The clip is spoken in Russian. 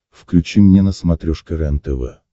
включи мне на смотрешке рентв